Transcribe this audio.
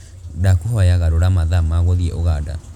ndakūhoya garūra mathaa ma gūthiī Uganda